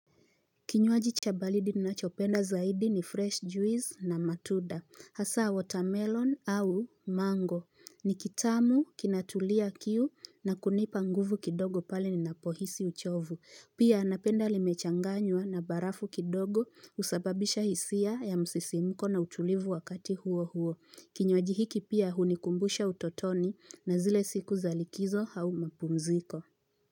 Kinywaji cha baridi ninachopenda zaidi ni fresh juice na matuda hasa watermelon au mango ni kitamu kinatulia kiu na kunipa nguvu kidogo pale ninapohisi uchovu pia napenda limechanganywa na barafu kidogo husababisha hisia ya msisimko na utulivu wakati huo huo kinywaji hiki pia hunikumbusha utotoni na zile siku za likizo au mapumziko.